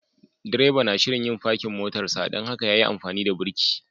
Direba na shirin yin parking motarsa dan haka ya yi amfani da birki.